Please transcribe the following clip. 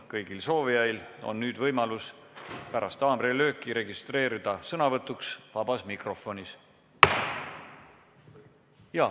Kõigil soovijail on võimalus pärast haamrilööki registreeruda sõnavõtuks vabas mikrofonis.